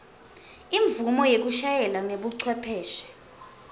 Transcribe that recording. imvumo yekushayela ngebucwepheshe